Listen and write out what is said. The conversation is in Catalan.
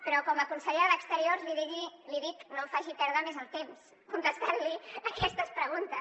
però com a consellera d’exteriors li dic no em faci perdre més el temps contestant li aquestes preguntes